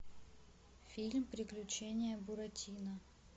фильм приключения буратино